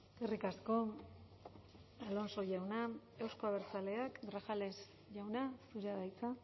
eskerrik asko alonso jauna euzko abertzaleak grajales jauna zurea da hitza